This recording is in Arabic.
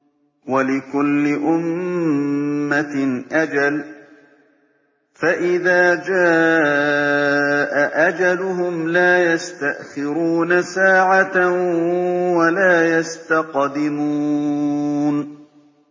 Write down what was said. وَلِكُلِّ أُمَّةٍ أَجَلٌ ۖ فَإِذَا جَاءَ أَجَلُهُمْ لَا يَسْتَأْخِرُونَ سَاعَةً ۖ وَلَا يَسْتَقْدِمُونَ